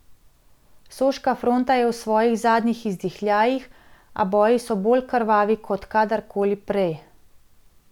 Soška fronta je v svojih zadnjih izdihljajih, a boji so bolj krvavi kot kadarkoli prej.